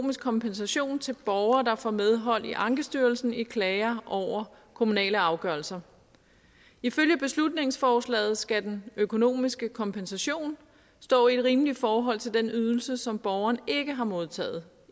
kompensation til borgere der får medhold i ankestyrelsen i klager over kommunale afgørelser ifølge beslutningsforslaget skal den økonomiske kompensation stå i et rimeligt forhold til den ydelse som borgeren ikke har modtaget